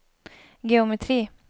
geometri